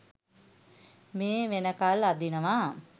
මේ වෙනකල් අදිනවා